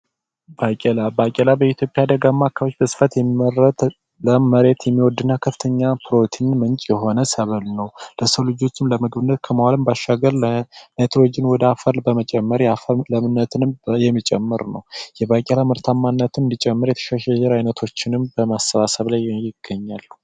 ባቄላ፡ ባቄላ በኢትዮጵያ በደጋማ አካባቢ በስፋት የሚመረት ለም መሬት የሚወድና ከፍተኛ ፕሮቲን የሆነ ሰብል ነው ለሰው ልጆች የተለያዩ ነገሮችን ከመዋል በተጨማሪ የናይትሮጅን መጠን ለአፈሩ የሚጨምር ነው ምርታማነት እንዲጨምር የተሻሻሉ የዘር ዓይነቶችንም በማሰባሰብ ማምረት ጥሩ ነው።